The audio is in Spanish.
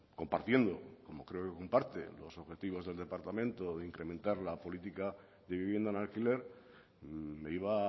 compartiendo como creo que comparte los objetivos del departamento de incrementar la política de vivienda en alquiler me iba